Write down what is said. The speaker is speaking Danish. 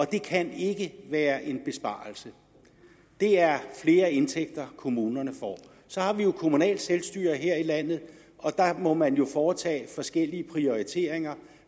det kan ikke være en besparelse det er flere indtægter kommunerne får så har vi jo kommunalt selvstyre her i landet og der må man jo foretage forskellige prioriteringer